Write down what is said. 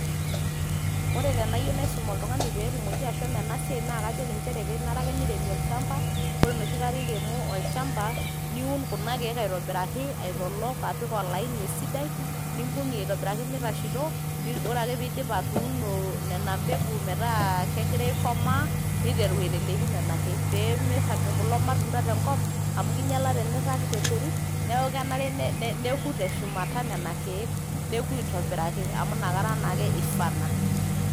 Ore tenayieu naisum oltung`ani pee elo ena siaai naa kajoki ake nchere kenare neiremi olchamba ore enoshi kata iremo olchamba. Niun kuna kiek aitobiraki aitolok apik olaini esidai nimbung`ie aitobiraki meitasheto. Ore ake pee idip atuuno nena mbegu metaa kegira aikomaa niteru aiteleki nena kiek pee meirag ilmatunda tenkop amu kinyiala tenirag nderit. Niaku kenare nea neku te shumata nena kiek, neku aitobiraki amu inakata naake eifana.